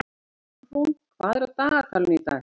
Álfrún, hvað er á dagatalinu í dag?